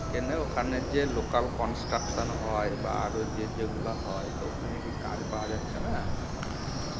কেন ওখানে যে localconstruction হয় বা আরও যে যেগুলা হয় তো ওখানে কি কাজ পাওয়া যাচ্ছেনা? "